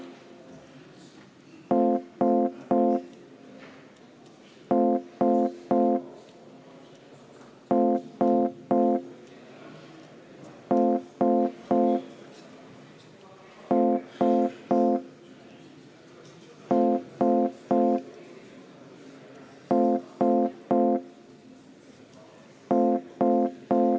Kas Riigikogu on valmis hääletama?